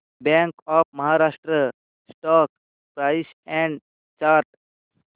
bank of Maharashtra stock price and chart